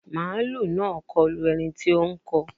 Màálù náà kọlu ẹni tí ó ń kọ